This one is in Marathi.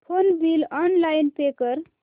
फोन बिल ऑनलाइन पे कर